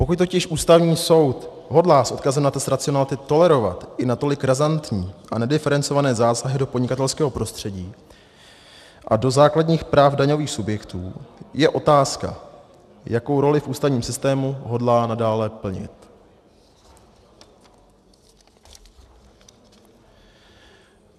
Pokud totiž Ústavní soud hodlá s odkazem na test racionality tolerovat i natolik razantní a nediferencované zásahy do podnikatelského prostředí a do základních práv daňových subjektů, je otázka, jakou roli v ústavním systému hodlá nadále plnit.